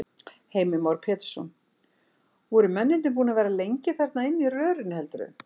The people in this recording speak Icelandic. Heimir Már Pétursson: Voru mennirnir búnir að vera lengi þarna inni í rörinu heldurðu?